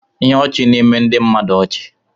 Ihe ọchị na-eme ndị mmadụ ọchị.